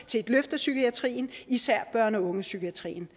til et løft af psykiatrien især børne og ungdomspsykiatrien